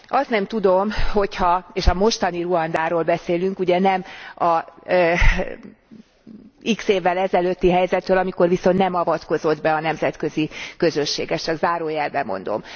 Azt nem tudom, hogy ha és a mostani Ruandáról beszélünk, nem az x évvel ezelőtti helyzetről, amikor viszont nem avatkozott be a nemzetközi közösség, ezt csak zárójelben mondom.